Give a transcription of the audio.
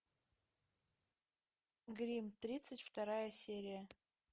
гримм тридцать вторая серия